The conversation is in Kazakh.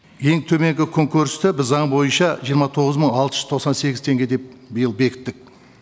ең төменгі күнкөрісті біз заң бойынша жиырма тоғыз мың алты жүз тоқсан сегіз теңге деп биыл бекіттік